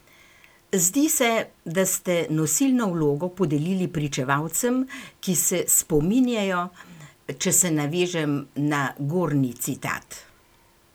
Zdi se, da ste nosilno vlogo podelili pričevalcem, ki se spominjajo, če se navežem na gornji citat?